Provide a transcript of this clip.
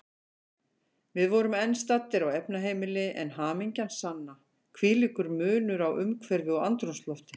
Við vorum enn staddir á efnaheimili, en hamingjan sanna, hvílíkur munur á umhverfi og andrúmslofti.